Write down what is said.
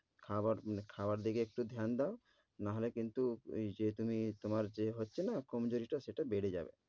খাবার~ খাওয়ার দিকে একটু ধ্যান দাও নাহলে কিন্তু এই যে তুমি তোমার যে হচ্ছে না কমজুরিটা সেটা বেড়ে যাবে।